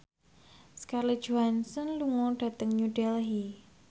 Scarlett Johansson lunga dhateng New Delhi